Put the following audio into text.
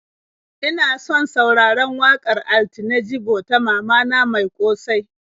Ina son sauraron waƙar Altine Jibo ta "Mama na mai ƙosai."